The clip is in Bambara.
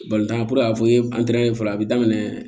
tan puruke a ko fɔlɔ a bi daminɛ